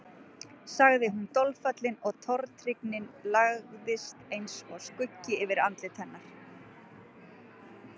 sagði hún dolfallin og tortryggnin lagðist eins og skuggi yfir andlit hennar.